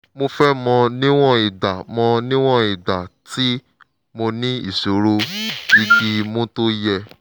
mo fẹ́ mọ̀ níwọ̀n ìgbà mọ̀ níwọ̀n ìgbà tí mo ní ìṣòro igi imú tó yẹ̀